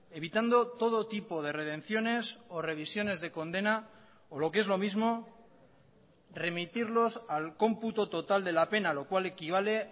evitando todo tipo de redenciones o revisiones de condena o lo que es lo mismo remitirlos al cómputo total de la pena lo cual equivale